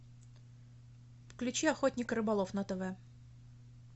включи охотник и рыболов на тв